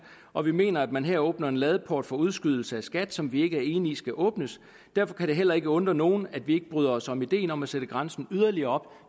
og vi mener at man her åbner en ladeport for udskydelse af skat som vi ikke er enige i skal åbnes derfor kan det heller ikke undre nogen at vi ikke bryder os om ideen om at sætte grænsen yderligere